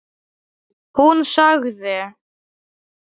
Hún sagði